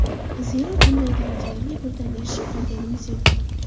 Zero, bunday darajalarga birdan erishib qolganimiz yo‘q.